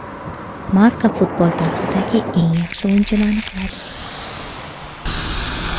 Marca futbol tarixidagi eng yaxshi o‘yinchini aniqladi !